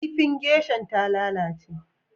Kifin geisha'n ta lallace.